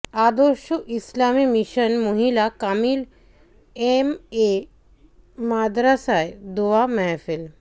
আদর্শ ইসলামী মিশন মহিলা কামিল এম এ মাদরসায় দোয়া মাহফিল